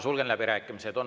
Sulgen läbirääkimised.